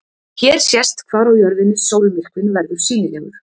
Hér sést hvar á jörðinni sólmyrkvinn verður sýnilegur.